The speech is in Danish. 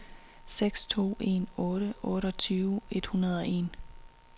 seks to en otte otteogtyve et hundrede og en